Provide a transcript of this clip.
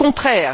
Au contraire!